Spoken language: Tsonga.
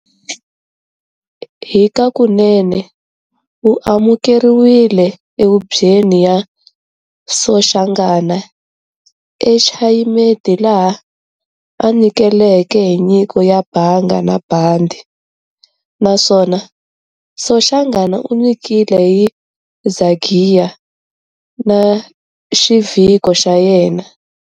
Hikakunene, u amukeriwile e hubyweni ya Soshangana e Chayimeti laha a nyikeleke hi nyiko ya Banga na bandi, naswona Soshangana u nyikele hi Zagiya na xivhiko xayena.